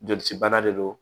Joli cibana de don